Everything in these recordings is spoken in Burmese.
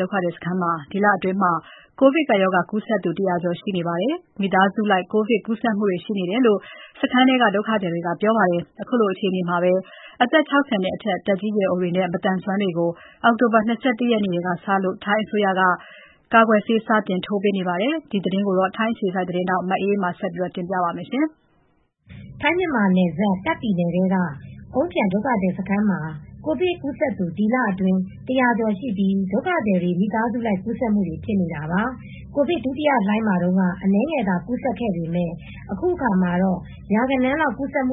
ဒုက္ခသည်စခန်းမှာ ဒီလအတွင်း မိသားစုလိုက် ကိုရိုနာဗိုင်းရပ်စ် ကူးစက်နေပြီး ကူးစက်ခံရသူ စုစုပေါင်း ၁၀၀ ကျော် ရှိလာနေပါပြီ။ တချိန်တည်းမှာပဲ ဒုက္ခသည်စခန်းတွေမှာ ထိုင်းအစိုးရအစီအစဉ်နဲ့ အောက်တိုဘာလ ၂၁ ရက်နေ့ကစပြီး အသက် ၆၀ အထက်နဲပ မသန်စွမ်းသူတွေကို ကိုဗစ်ကာကွယ်ဆေး စတင်ထိုးပေးနေပြီဖြစ်တဲ့အကြောင်း ထိုင်းအခြေစိုက် ဗွီအိုအေသတင်းထောက် မအေးအေးမာက စုံစမ်းတင်ပြပေးထားပါတယ်။ ထိုင်းမြန်မာနယ်စပ် တာ့ခ်ပြည်နယ်ထဲက အုန်းဖျံ ဒုက္ခသည်စခန်းမှာ ကိုဗစ်ကူးစက်သူ ဒီလအတွင်း ၁၀၀ ကျော်ရှိပြီး ဒုက္ခသည်တွေမိသားစုလိုက်ကူးစက်ခံနေကြရတာပါ။ ကိုဗစ်ဒုတိယလှိုင်းမှာတုန်းက အနည်းငယ်သာကူးစက်ခဲ့ပေမယ် အခုအခါမှာတော့ ရာဂဏန်းလောက်ကူးစက်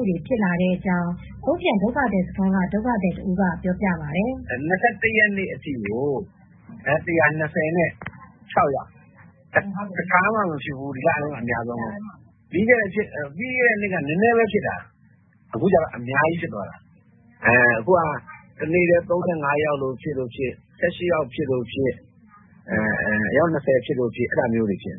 လာနေကြောင်း အုန်းဖျံဒုက္ခသည်စခန်းက ဒုက္ခသည်တဦးကပြောပြပါတယ်။ “၂၁ ရက်နေ့အထိကို ၁၂၆ ယောက်။ တခါမှမဖြစ်ဖူးဘူး။ ဒီလထဲမှာအများဆုံးပဲ။ ပြီးခဲ့တဲ့နှစ်က နည်းနည်းလေးပဲဖြစ်တာ။ အခုဟာ ကတနေ့တည်း ၃၅ ယောက်ဖြစ်လိုဖြစ်၊ ၁၈ ယောက်ဖြစ်လို့ဖြစ်၊ ၂၀ လောက်ဖြစ်လိုဖြစ်။ အဲဒါမျိုးတွေဖြစ်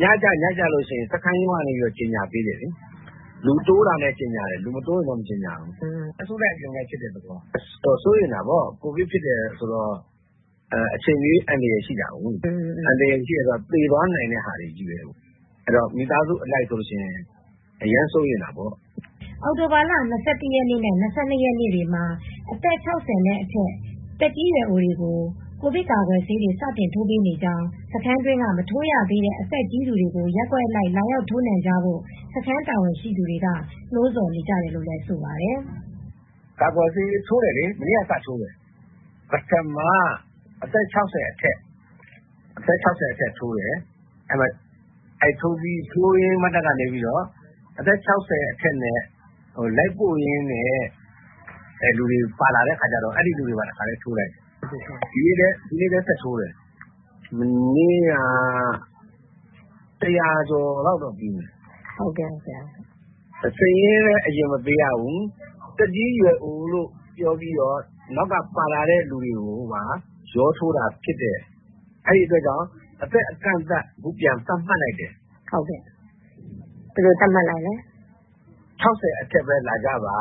နေတာ။ ညကျရင် စခန်းရုံးကနေ ကြေညာပေးနေတယ်။ လူတိုးတိုင်း ကြေညာပေးနေတယ်။ လူမတိုးရင်တော့မကြေညာဘူး။ အစုလိုက်အပြုံလိုက်ဖြစ်နေတော့ စိုးရိမ်ကြတာပေါ့။ ကိုဗစ်ဖြစ်တယ်ဆိုတော့ အချိန်မရွေး အန္တရယ်ရှိနိုင်တယ်။ သေသွားနိုင်တာကိုး။ မိသားစုအလိုက်ဆိုရင် အရမ်းစိုးရိမ်တာပေါ့။” အောက်တိုဘာလ၂၁ ရက်နေ့နဲ့ ၂၂ ရက်နေ့တွေမှာတော့ အသက် ၆၀ နဲ့အထက် သက်ကြီးရွယ် အိုတွေကို ကိုဗစ်ကာကွယ်ဆေး စတင်ထိုးပေးနေကြောင်း စခန်းတွင်းက မထိုးရသေးတဲ့ အသက်ကြီးသူတွေကို ရပ်ကွက်အလိုက် လာရောက်ထိုးနှံကြဖို့ စခန်းတာဝန်ရှိသူတွေ ကနှိုးဆော်နေတယ်လို့ဆိုပါတယ်။ “ကာကွယ်ဆေး မနေ့ကစထိုးတယ်။ ပထမ အသက် ၆၀ အထက်တိုးတယ်။ ထိုးရင်းနဲ့အသက် ၆၀ နဲ့အတူ လိုက်ပို့တဲ့သူတွေကိုလည်း တခါတည်းထိုးပေးလိုက်တယ်။ ဒီနေ့လည်း ဆက်ထိုးတယ်။ မနေ့ကတော့ ၁၀၀ ကျော်လောက်ထိုးတယ်။ စာရင်းအရင်မပေးရဘူး။ နောက်ကပါလာတဲ့သူတွေပါ ရောထိုးလိုက်တော့ အခုအသက်အကန့်အသတ် ပြန်သတ်မှတ်လိုက်တယ်။ အသက် ၆၀ အထက်ပဲ လာကြပါ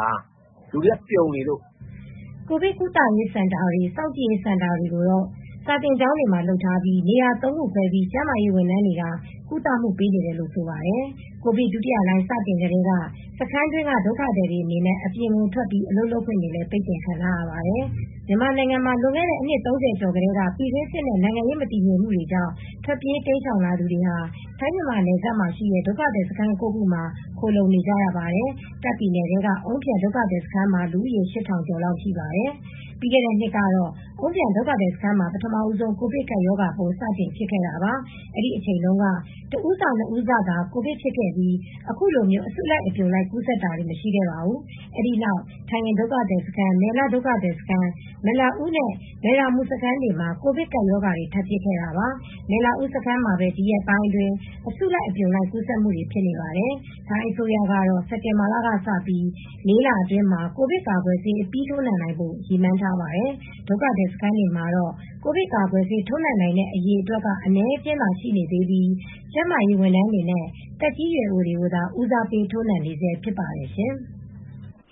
ပြောတယ်။ လူတွေကစုပြုံနေလို့။” ကိုဗစ်ကုသရေးစင်တာတွေ၊ စောင့်ကြည့်ရေးစင်တာတွေကိုတော့ စာသင်ကျောင်းတွေမှာ လုပ်ထားပေးပါတယ်။ နေရာ ၃ ခု ခွဲပြီး ကျန်းမာရေးဝန်ထမ်းတွေက ကုသပေးနေတယ်လို့ ဆိုပါတယ်။ ကိုဗစ်ဒုတိယလှိုင်းစတင်ကတည်းက စခန်းတွင်းက ဒုက္ခသည်တွေအနေနဲ့ အပြင်ကိုထွက် အလုပ်လုပ်ခွင့်တွေကိုလည်းပိတ်ပင်ထားပါတယ်။ မြန်မာနိုင်ငံမှာ လွန်ခဲ့တဲ့ အနှစ် ၃၀ ကျော်ထဲက ပြည်တွင်းစစ်နဲ့ နိုင်ငံရေးမတည်ငြိမ်မှုတွေကြောင့်ထွက်ပြေးတိမ်းရှောင်လာသူတွေဟာထိုင်း-မြန်မာနယ်စပ်မှာရှိတဲ့ ဒုက္ခသည်စခန်း ၉ ခု မှာ ခိုလှုံ နေကြရပါတယ်။ တာခ့် ပြည်နယ်ထဲကအုန်းဖျံဒုက္ခသည်စခန်းမှာ လူဦးရေ ၈ ထောင်လောက်ရှိပါတယ်။ ပြီးခဲ့တဲ့နှစ်ကစပြီး အုန်းဖျန်ဒုက္ခသည်စခန်းမှာ ပထမဆုံး ကိုဗစ်ကပ်ရောဂါဖြစ်ခဲ့တာပါ။ အဲဒီအချိန် တုန်းက တဦးစ နှစ်ဦးစသာ ကိုဗစ်ဖြစ်ခဲ့ပြီး အခုလို အစုလိုက်အပြုံလိုက် ကူးစက်တာတွေမရှိခဲ့ပါဘူး။ အဲဒီနောက်ထမ်ဟင်ဒုက္ခသည်စခန်း၊ မယ်လ ဒုက္ခသည်စခန်း၊ မယ်လအူးနဲ့ မယ်ရာမူ စခန်းတွေမှာ ကိုဗစ်ကပ်ရောဂါ ထပ်ဖြစ်ခဲ့တာပါ။ မယ်လအူးစခန်းမှာပဲ ဒီရက်ပိုင်းအတွင်း အစုလိုက်ကူးစက်နေပါတယ်။ ထိုင်းအစိုးရကတော့ စက်တင်ဘာလက စပြီး ၄ လအတွင်းမှာ ကိုဗစ်ကာကွယ်ဆေး အပြီးထိုးနံှနိုင်ဖို့ ရည်မှန်းထားပါတယ်။ ဒုက္ခသည်စခန်းတွေမှာတော့ ကိုဗစ်ကာကွယ်ဆေး ထိုးနှံနိုင်တဲ့အရေအတွက်က အနည်းအကျဉ်းသာရှိသေးပြီး ကျန်းမာရေးဝန်ထမ်းတွေနဲ့ သက်ကြီးရွယ်အိုတွေကိုသာဦးစားပေး ထိုးနှံနေဆဲဖြစ်ပါတယ်ရှင်။